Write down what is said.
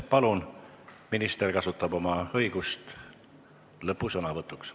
Palun, minister kasutab oma õigust lõpusõnavõtuks.